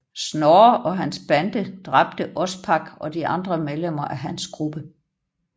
Snorre og hans bande dræbte Ospak og de andre medlemmer af hans gruppe